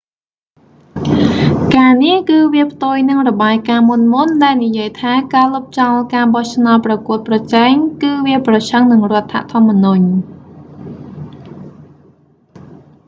ការនេះ គឺវាផ្ទុយនឹងរបាយការណ៍មុនៗ ដែលនិយាយថាការលុបចោលការបោះឆ្នោតប្រកួតប្រជែងគឺវាប្រឆាំងនឹងរដ្ឋធម្មនុញ្ញ